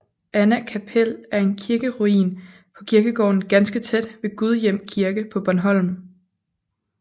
Anna kapel er en kirkeruin på kirkegården ganske tæt ved Gudhjem Kirke på Bornholm